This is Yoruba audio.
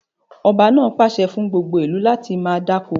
Ọba náà pàṣẹ fún gbogbo ìlú láti máa dáko!